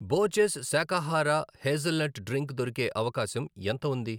Borges శాకాహార hazelnut drink దొరికే అవకాశం ఎంత ఉంది?